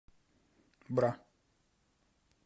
бра